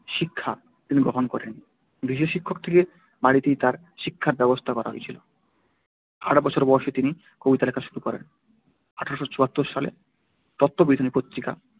শিক্ষা তিনি গ্রহণ করেন গৃহশিক্ষক রেখে বাড়িতেই তার শিক্ষার ব্যবস্থা করা হয়েছিল আট বছর বয়সে তিনি কবিতা লেখা শুরু করেন। আঠারোশো চুয়াত্তর সালে তত্ত্ববোধিনী পত্রিকা